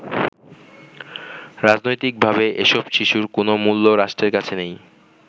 রাজনৈতিকভাবে এসব শিশুর কোনও মূল্য রাষ্ট্রের কাছে নেই।